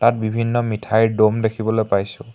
ইয়াত বিভিন্ন মিঠাইৰ দ'ম দেখিবলৈ পাইছোঁ।